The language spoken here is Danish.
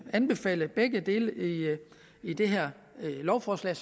anbefale begge dele i det her lovforslag